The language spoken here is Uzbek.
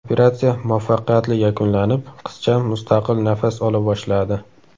Operatsiya muvaffaqiyatli yakunlanib, qizcha mustaqil nafas ola boshladi.